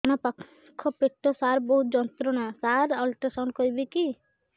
ଡାହାଣ ପାଖ ପେଟ ସାର ବହୁତ ଯନ୍ତ୍ରଣା ସାର ଅଲଟ୍ରାସାଉଣ୍ଡ କରିବି କି